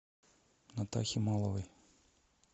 натахи маловой